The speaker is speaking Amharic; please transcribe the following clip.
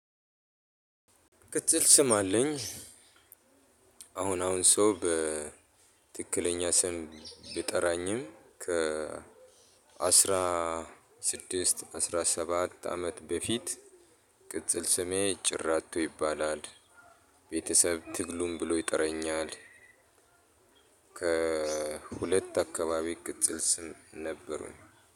ቅጽል ስም አለኝ። አሁን አሁን ሰው በትክክለኛ ስም ቢጠራኝም ከ አስራ ስድስት አስራ ሰባት አመት በፊት ቅጽል ስሜ ጭራቶ ይባላል። ቤተሰብ ትግሉን ብሎ ይጠረኛል። ከሁለት አካባቢ ቅጽል ስም ነበሩኝ